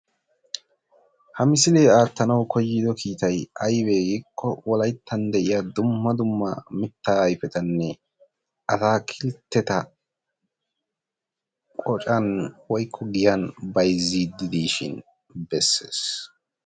Ha misilee aattanawu koyido kiitayi ayibee giikko wolayittan de"iya dumma dumma mittaa ayipetanne ataakilteta qocan woyikko giyan bayizziiddi diishin besees.